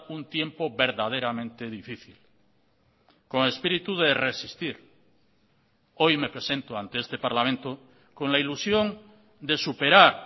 un tiempo verdaderamente difícil con espíritu de resistir hoy me presento ante este parlamento con la ilusión de superar